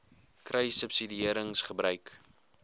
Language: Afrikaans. kruissubsidiëringgebruik